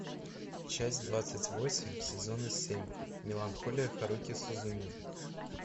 часть двадцать восемь сезона семь меланхолия харухи судзумии